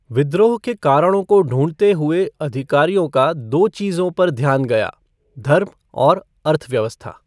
विद्रोह के कारणों को ढूंढने हुए अधिकारियों का दो चीज़ों पर ध्यान गया धर्म और अर्थव्यवस्था।